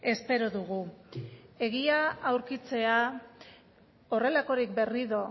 espero dugu egia aurkitzea horrelakorik berriro